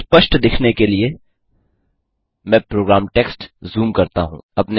स्पष्ट दिखने के लिए मैं प्रोग्राम टेक्स झूम करता हूँ